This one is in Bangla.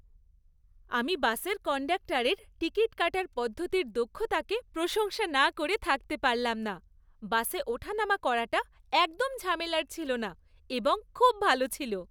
আমি বাসের কন্ডাক্টরের টিকিট কাটার পদ্ধতির দক্ষতাকে প্রশংসা না করে থাকতে পারলাম না। বাসে ওঠা নামা করাটা একদম ঝামেলার ছিল না এবং খুব ভালো ছিল।